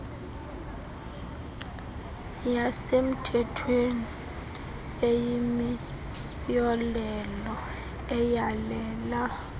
yasemthethweni eyimiyolelo eyalela